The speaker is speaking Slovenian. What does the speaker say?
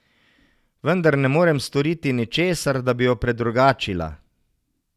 Vendar ne morem storiti ničesar, da bi jo predrugačila.